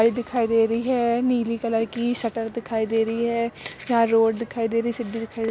गाड़ी दिखाई दे रही है। नीली कलर की शटर दिखाई दे रही है। यहाँं रोड दिखाई दे रही सिड्डी दिखाई --